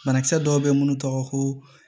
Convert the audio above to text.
Banakisɛ dɔw bɛ minnu tɔgɔ ko